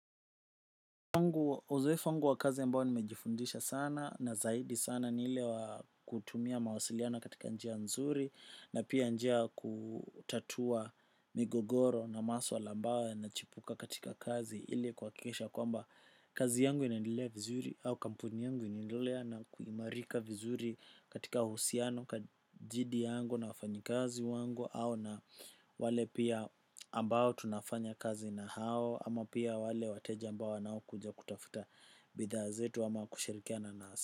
Uzoe wangu wa kazi ambayo nimejifundisha sana na zaidi sana nile wakutumia mawasiliano katika njia nzuri na pia njia kutatua migogoro na maswala ambayo yana chipuka katika kazi ili kuhakikisha kwamba kazi yangu inendilea vizuri au kampuni yangu inendilea na kuimarika vizuri katika uhusiano kajidi yangu na wafanyikazi wangu au na wale pia ambao tunafanya kazi na hao ama pia wale wateja ambao wanao kuja kutafuta bidhaa zetu ama kushirikiana nasi.